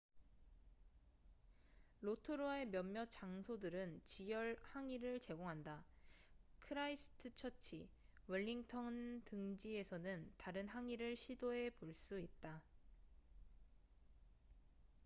로토루아의 몇몇 장소들은 지열 항이를 제공한다 크라이스트처치 웰링턴 등지에서는 다른 항이를 시도해 볼 수 있다